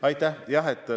Aitäh!